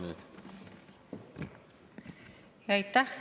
Palun, kaheksa minutit!